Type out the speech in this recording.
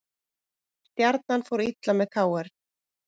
Stjarnan fór illa með KR